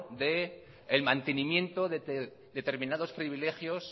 del mantenimiento de determinados privilegios